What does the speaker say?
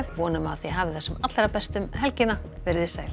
vonum að þið hafið það sem allra best um helgina veriði sæl